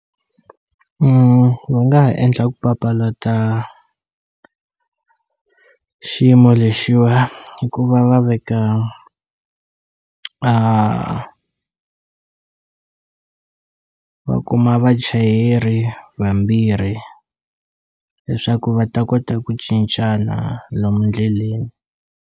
Va nga ha endla ku papalata xiyimo lexiwa hi ku va va veka a va kuma vachayeri vambirhi leswaku va ta kota ku cincana lomu ndleleni.